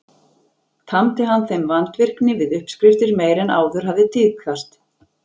Tamdi hann þeim vandvirkni við uppskriftir meiri en áður hafði tíðkast.